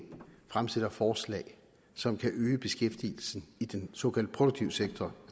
fremsætter forslag som kan øge beskæftigelsen i den såkaldt produktive sektor